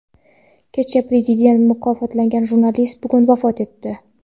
Kecha Prezident mukofotlagan jurnalist bugun vafot etdi.